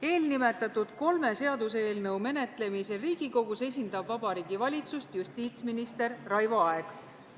Eelnimetatud kolme seaduseelnõu menetlemisel Riigikogus esindab Vabariigi Valitsust justiitsminister Raivo Aeg.